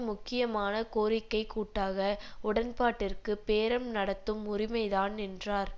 முக்கியமான கோரிக்கை கூட்டாக உடன்பாட்டிற்கு பேரம் நடத்தும் உரிமைதான் என்றார்